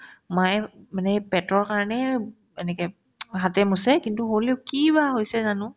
মায়ে মানে পেটৰ কাৰণে এনেকে হাতেৰে মুচে কিন্তু হ'লিও কি বা হৈছে জানো